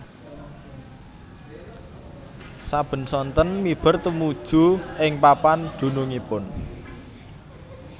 Saben sonten miber tumuju ing papan dunungipun